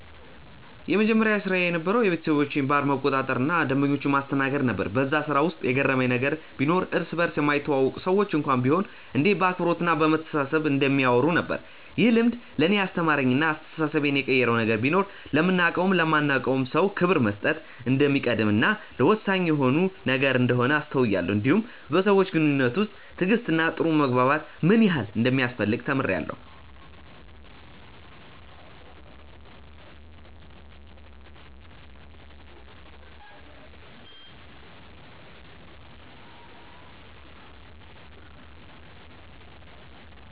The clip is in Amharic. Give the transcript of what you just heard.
የመጀመሪያ ስራዬ የነበረዉ የቤተሰቦቼን ባር መቆጣጠር እና ደንበኞችን ማስተናገድ ነበር በዛ ስራ ውስጥ የገረመኝ ነገር ቢኖር እርስ በርስ የማይተዋወቁ ሰዎች እንኳን ቢሆኑ እንዴት በአክብሮት እና በመተሳሰብ እንደሚያወሩ ነበር። ይህ ልምድ ለእኔ ያስተማረኝ እና አስተሳሰቤን የቀየረው ነገር ቢኖር ለምናቀውም ለማናቀውም ሰው ክብር መስጠት እንደሚቀድም እና ወሳኝ የሆነ ነገር እንደሆነ አስተውያለው እንዲሁም በሰዎች ግንኙነት ውስጥ ትዕግስት እና ጥሩ መግባባት ምን ያህል እንደሚያስፈልግ ተምሬአለሁ።